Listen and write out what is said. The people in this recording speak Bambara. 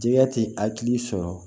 Jɛgɛ tɛ hakili sɔrɔ